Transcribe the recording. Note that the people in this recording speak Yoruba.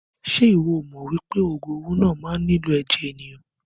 Ṣe iwọ o mọ wípé ogun owó náà má nilo ẹ̀jẹ̀ ènìyàn?